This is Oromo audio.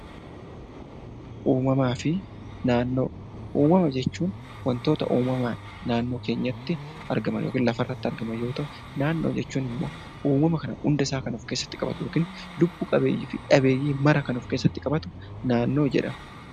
Uumama jechuun wantoota uumamaan naannoo keenyatti argaman yookaan lafarratti argaman yoo ta'u, naannoo jechuun immoo uumama kana hundasaa kan of keessatti qabatu yookaan lubbu-qabeeyyii fi lubbu-dhabeeyyii maraa kan of keessatti qabatu naannoo jedhama.